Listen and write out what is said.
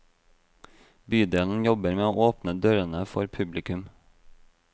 Bydelen jobber med å åpne dørene for publikum.